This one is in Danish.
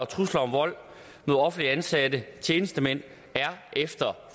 trusler om vold mod offentligt ansatte tjenestemænd er efter